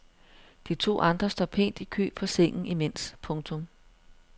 De to andre står pænt i kø på sengen imens. punktum